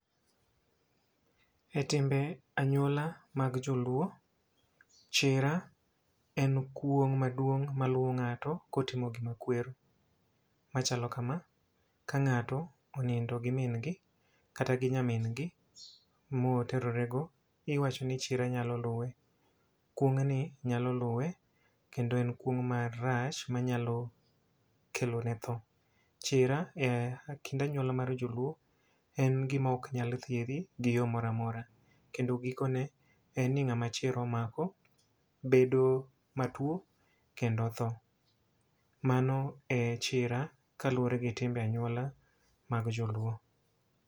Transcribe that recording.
E timbe anyuola mag joluo, chira en kuong' maduong' ma luwo ng'ato kotimo gima kwero machalo kama. Ka ng'ato onindo gi min gi kata gi nyamin gi mo oterorego, iwacho ni chira nyalo luwe. Kuong' ni nyalo luwe kendo en kuong' marach ma nyalo kelo ne tho. Chira e kind anyuola mar joluo en gima ok nyal thiedhi gi yo moramora. Kendo giko ne en ni ng'ama chira omako, bedo matuo kendo tho. Mano e chira kaluwore gi timbe anyuola mag joluo.